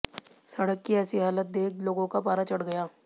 सड़क की ऐसी हालत देख लोगों का पारा चढ़ गया